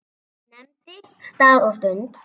Nefndi stað og stund.